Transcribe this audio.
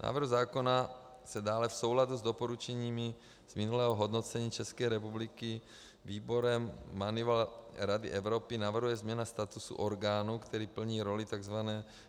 Návrhem zákona se dále v souladu s doporučeními z minulého hodnocení České republiky výborem Moneyval Rady Evropy navrhuje změna statusu orgánu, který plní roli tzv.